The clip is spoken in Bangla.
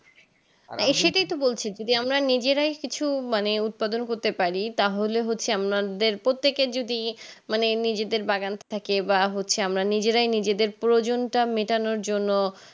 সেটাই তো বলছি যদি আমরা নিজেরাই কিছু মানে উৎপাদন করতে পারি তাহলে হচ্ছে আমাদের প্রত্যেকের যদি মানে নিজেদের বাগান থাকে বা হচ্ছে আমরা নিজেরা নিজেদের প্রয়োজনটা মিটানোর জন্য